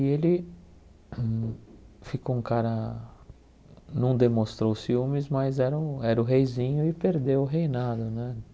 E ele ficou um cara... Não demonstrou o ciúmes, mas era era o reizinho e perdeu o reinado, né?